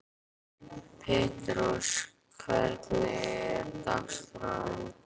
Petrós, hvernig er dagskráin?